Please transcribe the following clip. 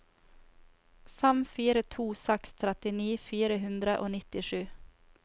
fem fire to seks trettini fire hundre og nittisju